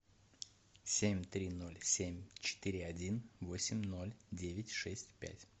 семь три ноль семь четыре один восемь ноль девять шесть пять